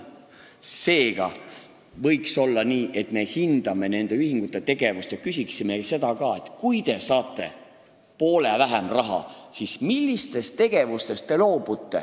Seega võiks olla nii, et me hindame nende ühingute tegevust ja küsime ka seda, et kui nad hakkavad saama poole vähem raha, siis millistest tegevustest nad loobuvad.